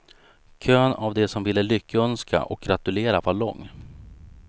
Kön av de som ville lyckönska och gratulera var lång.